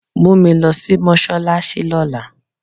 Mú mi lọ sí mọ́ṣáláṣí lọ́la.